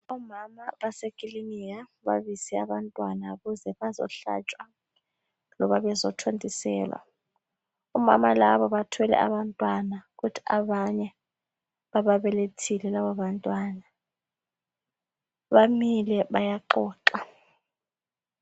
Omama basekilinika babize abantwana ukuze bazohlatshwa loba bezo thontiselwa. Omama laba bathwele abantwana kuthi abanye baba belethile laba bantwana, bamile bayaxoxa.